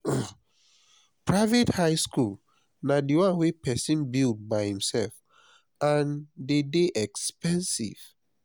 private high school na di one wey persin build by himself and de dey expensive